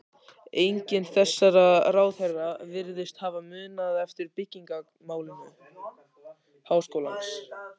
Enginn þessara ráðherra virðist hafa munað eftir byggingamáli háskólans.